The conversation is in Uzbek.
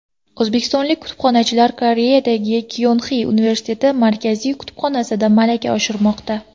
O‘zbekistonlik kutubxonachilar Koreyadagi Kyonxi universiteti Markaziy kutubxonasida malaka oshirmoqda.